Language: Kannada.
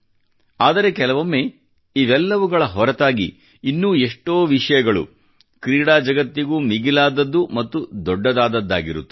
ಆದರೆ ಕೆಲವೊಮ್ಮೆ ಇವೆಲ್ಲವುಗಳ ಹೊರತಾಗಿ ಇನ್ನೂ ಎಷ್ಟೋ ವಿಷಯಗಳು ಕ್ರೀಡಾ ಜಗತ್ತಿಗೂ ಮಿಗಿಲಾದದ್ದು ಮತ್ತು ದೊಡ್ಡದಾದದ್ದಾಗಿರುತ್ತವೆ